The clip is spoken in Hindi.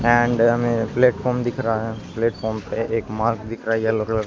ऐंड हमें प्लेटफार्म दिख रहा है। प्लेटफार्म पे एक मार्क दिख रहा है येलो कलर का।